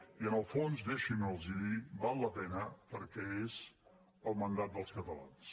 i en el fons deixin m’ho dir val la pena perquè és el mandat dels catalans